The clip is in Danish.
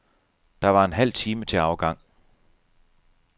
Der var en halv time til afgang.